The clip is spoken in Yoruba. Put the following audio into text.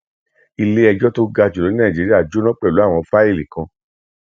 ilé ẹjọ tó ga jùlọ ní nàìjíríà jóná pẹlú àwọn fáìlì kan